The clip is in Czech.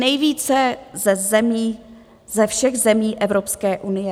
Nejvíce ze všech zemí Evropské unie.